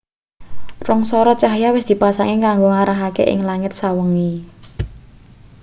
rong sorot cahya wis dipasang kanggo ngarahake ing langit sawengi